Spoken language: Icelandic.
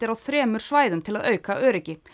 á þremur svæðum til að auka öryggi